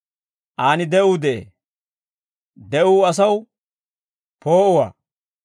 Aan de'uu de'ee; de'uu asaw poo'uwaa.